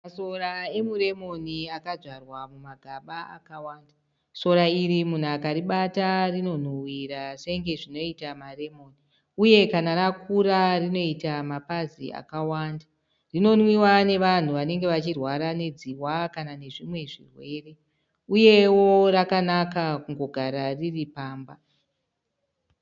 Masora emuremoni akadzvarwa mumagaba akawanda. Sora iri munhu akaribata rinonhuwirira senge zvinoita maremoni uye kana rakura rinoita mapazi akawanda. Rinonwiwa nevanhu vanenge vachirwara nedziwa kana nezvimwe zvirwere uyewo rakanaka kungogara riri pamba.